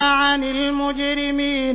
عَنِ الْمُجْرِمِينَ